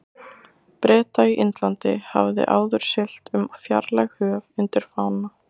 Breta í Indlandi, hafði áður siglt um fjarlæg höf undir fána